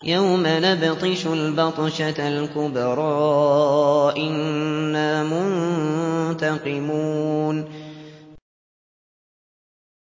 يَوْمَ نَبْطِشُ الْبَطْشَةَ الْكُبْرَىٰ إِنَّا مُنتَقِمُونَ